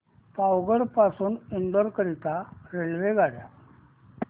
पावागढ पासून इंदोर करीता रेल्वेगाड्या